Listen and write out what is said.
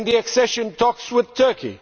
or the accession talks with Turkey.